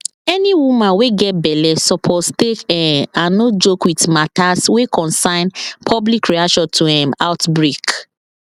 any woman wey get belle suppose take um and no joke with matters wey concern public reaction to um outbreak